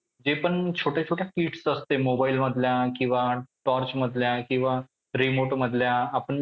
जे पण छोट्या छोट्या kits असते mobile मधल्या किंवा torch मधल्या किंवा remote मधल्या आपण